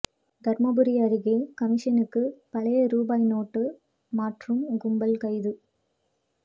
தருமபுரி அருகே கமிஷனுக்கு பழைய ரூபாய் நோட்டு மாற்றும் கும்பல் கைது